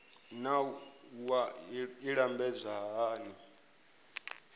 naa wua i lambedzwa hani